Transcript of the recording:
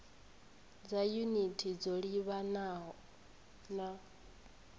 dza yunithi dzo livhanaho na